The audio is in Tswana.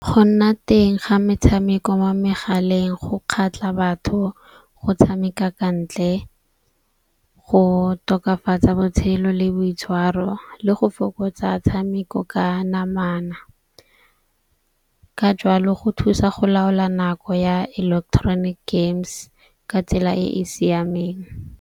Go nna teng ga metshameko mo megaleng go kgatlha batho go tshameka ka ntle, go tokafatsa botshelo le boitshwaro le go fokotsa tshameko ka namana. Ka jalo go thusa go laola nako ya electronic games ka tsela e e siameng.